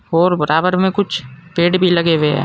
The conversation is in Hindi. और बराबर में कुछ पेड़ भी लगे हुए हैं।